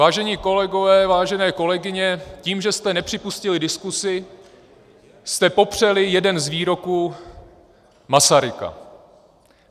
Vážení kolegové, vážené kolegyně, tím že jste nepřipustili diskusi, jste popřeli jeden z výroků Masaryka.